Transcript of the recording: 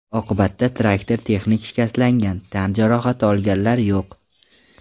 Oqibatda traktor texnik shikastlangan, tan jarohati olganlar yo‘q.